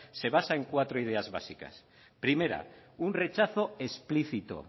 se basa en cuatro ideas básicas primera un rechazo explícito